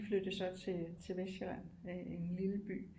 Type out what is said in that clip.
De flyttede så til Vestsjælland en lille by